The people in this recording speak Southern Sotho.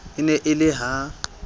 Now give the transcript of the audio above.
e ne e le ha